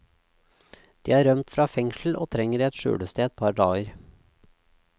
De har rømt fra fengsel og trenger et skjulested et par dager.